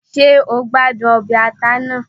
Ṣé o gbádùn ọbẹ̀ ata náà?